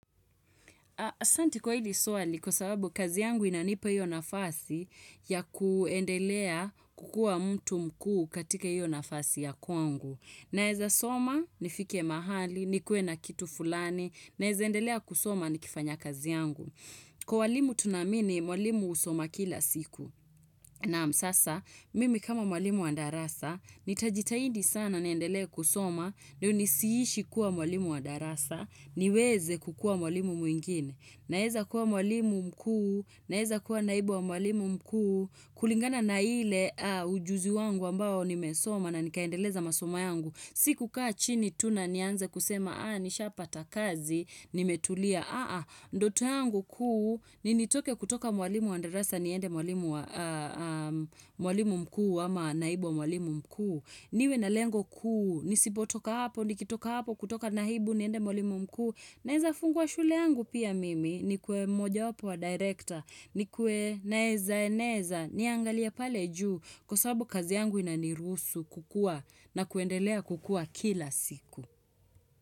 Asanti kwa hili swali kwa sababu kazi yangu inanipa hiyo nafasi ya kuendelea kukua mtu mkuu katika hiyo nafasi ya kwangu. Naeza soma nifike mahali, nikuwe na kitu fulani, naeza endelea kusoma nikifanya kazi yangu. Kwa walimu tunaamini, mwalimu usoma kila siku. Naam sasa, mimi kama mwalimu wa darasa, nitajitahidi sana niendelee kusoma ndio nisiishi kuwa walimu wa darasa, niweze kukua mwalimu mwingine. Naeza kuwa mwalimu mkuu, naeza kuwa naibu wa mwalimu mkuu, kulingana na ile ujuzi wangu ambao nimesoma na nikaendeleza masoma yangu. Sikukaa chini tu na nianza kusema, aa, nisha pata kazi, nimetulia, ahaa, ndoto yangu kuu, ni nitoke kutoka mwalimu wa darasa, niende mwalimu mkuu, ama naibu wa mwalimu mkuu. Niwe na lengo kuu, nisipotoka hapo, nikitoka hapo, kutoka naibu, niende mwalimu mkuu. Naeza fungua shule yangu pia mimi nikue moja wapo wa director nikue naeza eneza niangalia pale juu kwa sababu kazi yangu inanirusu kukua na kuendelea kukua kila siku.